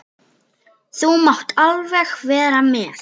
Þú mátt alveg vera með.